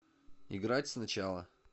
играть сначала